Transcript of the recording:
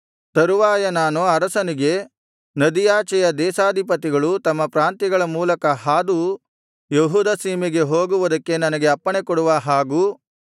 ತರುವಾಯ ನಾನು ಅರಸನಿಗೆ ನದಿಯಾಚೆಯ ದೇಶಾಧಿಪತಿಗಳು ತಮ್ಮ ಪ್ರಾಂತ್ಯಗಳ ಮೂಲಕ ಹಾದು ಯೆಹೂದ ಸೀಮೆಗೆ ಹೋಗುವುದಕ್ಕೆ ನನಗೆ ಅಪ್ಪಣೆಕೊಡುವ ಹಾಗೂ